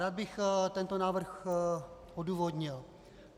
Rád bych tento návrh odůvodnil.